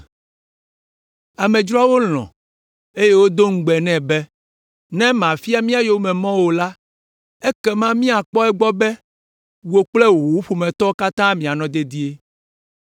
Amedzroawo lɔ̃, eye wodo ŋugbe nɛ be, “Ne màfia mía yomemɔ o la, ekema míakpɔ egbɔ be wò kple wò ƒometɔwo katã mianɔ dedie.